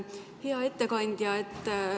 Hea ettekandja!